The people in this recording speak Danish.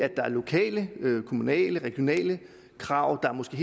lokale kommunale regionale krav og måske